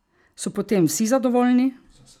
So potem vsi zadovoljni?